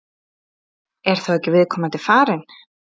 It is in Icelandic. Er þá ekki viðkomandi farin?